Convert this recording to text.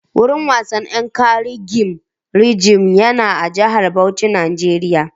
Gurin wasan Yankari gem rizab yana Jihar Bauchi na Nijeriya